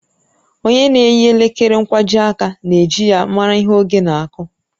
Ònye na-eyi elekere nkwajiaka na-eji ya mara ihe oge na-aku